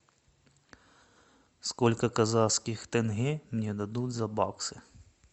сколько казахских тенге мне дадут за баксы